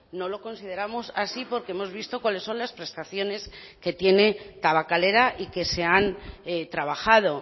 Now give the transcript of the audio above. no lo consideramos así porque hemos visto cuáles son las prestaciones que tiene tabakalera y que se han trabajado